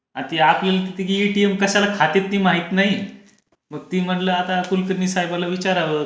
किती आपली किती की एटीएम कशाला खाते ती माहित नाही मी म्हणल आता कुलकर्णी साहेबाला विचारावा.